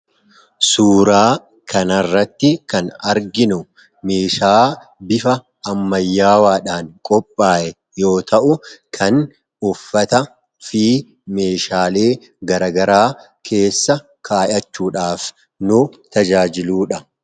Suuraa kanarratti kan arginu meeshaa bifa ammayyaawaadhaan qophaa'e yoo ta'u kan uffata fi meeshaalee garagaraa keessa kaayachuudhaaf nu tajaajiluudha.